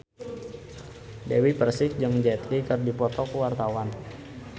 Dewi Persik jeung Jet Li keur dipoto ku wartawan